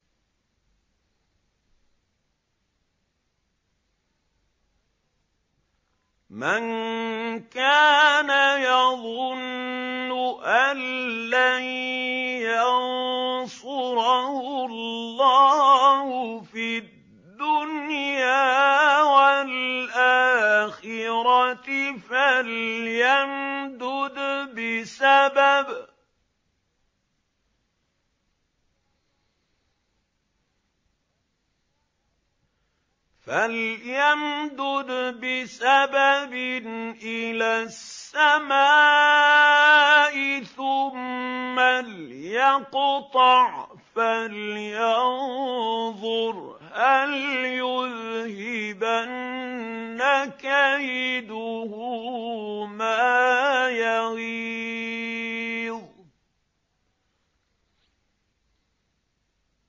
مَن كَانَ يَظُنُّ أَن لَّن يَنصُرَهُ اللَّهُ فِي الدُّنْيَا وَالْآخِرَةِ فَلْيَمْدُدْ بِسَبَبٍ إِلَى السَّمَاءِ ثُمَّ لْيَقْطَعْ فَلْيَنظُرْ هَلْ يُذْهِبَنَّ كَيْدُهُ مَا يَغِيظُ